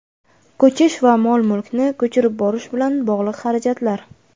ko‘chish va mol-mulkni ko‘chirib borish bilan bog‘liq xarajatlar;.